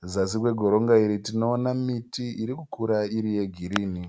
Kuzasi kwegotonga tiri kuona miti irikukura iri yegirinhi